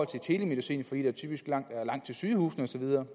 telemedicin fordi der typisk er langt til sygehusene og så videre